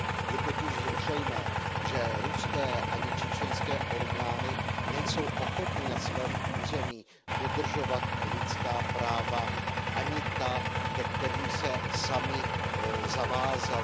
Je totiž zřejmé, že ruské ani čečenské orgány nejsou ochotny na svém území dodržovat lidská práva ani ta, ke kterým se samy zavázaly.